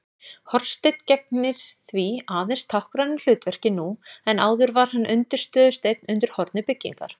Hornsteinn gegnir því aðeins táknrænu hlutverki nú en áður var hann undirstöðusteinn undir horni byggingar.